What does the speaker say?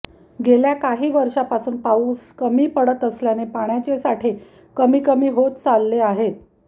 गेल्या काही वर्षापासून पाऊस कमी पडत असल्याने पाण्याचे साठे कमी कमी होत चालले आहेत